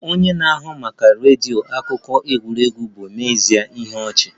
Onye na-ahụ maka redio maka akụkọ egwuregwu bụ n'ezie ihe ọchị